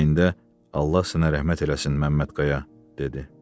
ürəyində 'Allah sənə rəhmət eləsin Məmmədqaya' dedi.